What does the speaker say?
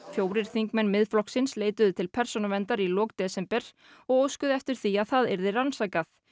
fjórir þingmenn Miðflokksins leituðu til Persónuverndar í lok desember og óskuðu eftir því að það yrði rannsakað